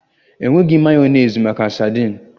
Enweghi mayonezi maka saladi